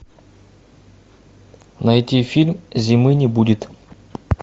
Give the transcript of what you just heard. найти фильм зимы не будет